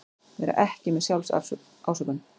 Vera ekki með SJÁLFSÁSÖKUN